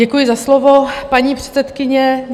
Děkuji za slovo, paní předsedkyně.